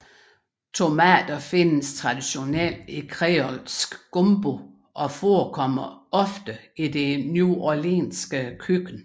Tomater findes traditionelt i kreolsk gumbo og forekommer ofte i det neworleanske køkken